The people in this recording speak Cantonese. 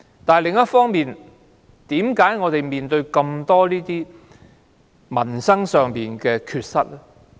但是，另一方面，為何我們會面對這麼多民生上的缺失呢？